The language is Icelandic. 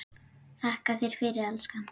Þakka þér fyrir, elskan.